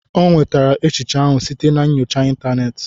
O nwetara echiche ahụ site na nyocha ịntanetị